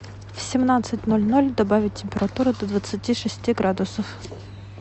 в семнадцать ноль ноль добавить температуру до двадцати шести градусов